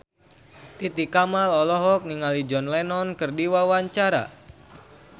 Titi Kamal olohok ningali John Lennon keur diwawancara